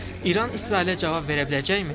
İran İsrailə cavab verə biləcəkmi?